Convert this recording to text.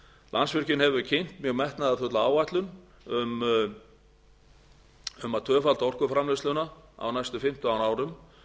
landsvirkjun hefur kynnt mjög metnaðarfulla áætlun sem tvöfaldar orkuframleiðsluna á næstu fimmtán árum